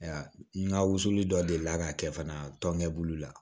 N ka wusuli dɔ delila ka kɛ fana tɔnjɛbulu la